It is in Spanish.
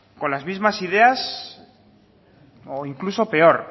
con las mismas ideas o incluso peor